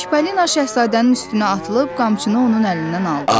Çipalina Şahzadənin üstünə atılıb qamçını onun əlindən aldı.